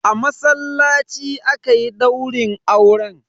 A masallaci aka yi daurin auren.